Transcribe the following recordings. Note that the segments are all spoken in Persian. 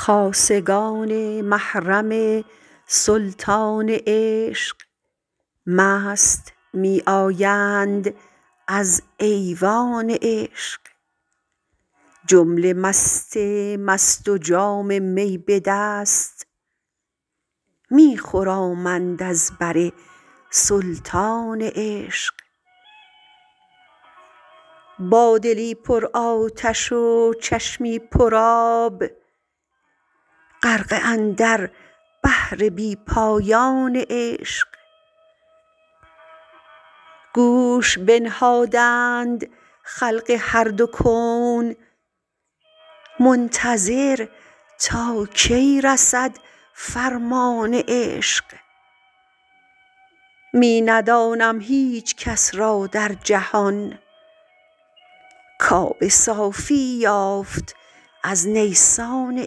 خاصگان محرم سلطان عشق مست می آیند از ایوان عشق جمله مست مست و جام می به دست می خرامند از بر سلطان عشق با دلی پر آتش و چشمی پر آب غرقه اندر بحر بی پایان عشق گوش بنهادند خلق هر دو کون منتظر تا کی رسد فرمان عشق می ندانم هیچکس را در جهان کاب صافی یافت از نیسان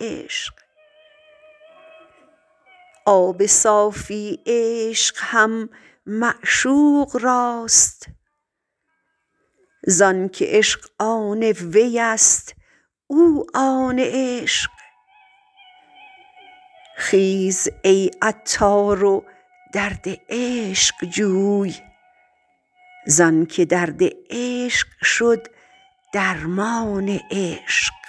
عشق آب صافی عشق هم معشوق راست زانکه عشق آن وی است او آن عشق خیز ای عطار و درد عشق جوی زانکه درد عشق شد درمان عشق